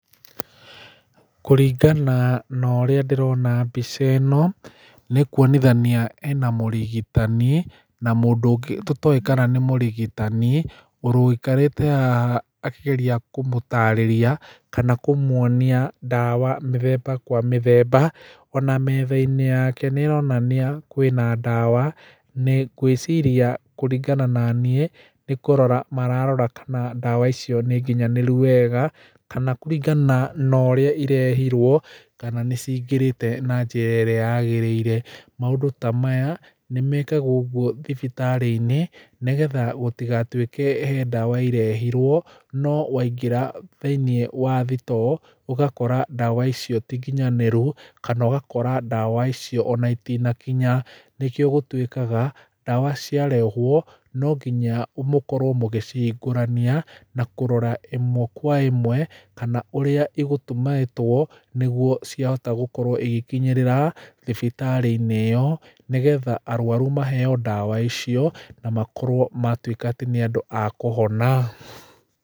Kũringana norĩa ndĩrona mbica ĩno nĩkuonithania ĩna mũrigitani na mũndũ ũngĩ tũtoĩkana nĩ mũrigitani ũikarĩte haha akĩgeria kũmũtarĩria kana kũmuonia ndawa mĩthemba kwa mĩthemba ona metha yake nĩĩronania kwĩna ndawa, ngwĩciria kũringana naniĩ nĩkũrora mararora kana ndawa icio nĩ nginyanĩru wega kana kũringana na ũrĩa irehirwo kana nĩcingĩrĩte na njĩra ĩrĩa yagĩrĩire, maũndũ ta maya nĩmekagwo ũguo thibitarĩ-inĩ nĩgetha gũtigatuĩke he ndawa irehirwo no waingĩra thĩinĩ wa thitoo ũgakora ndawa icio ti nginyanĩru kana ũgakora ndawa icio ona itinakinya, nĩkio gũtuĩkaga ndawa ciarehwo nonginya mũkorwo mũgĩcihingũrania na kũrora ĩmwe kwa ĩmwe kana ũrĩa igũtumĩtwo nĩguo ciahota gũkorwo igĩkinyĩrĩra thibitarĩ-inĩ ĩyo nĩgetha arwaru maheeo ndawa icio na makorwo matuĩka atĩ nĩ andũ akũhona.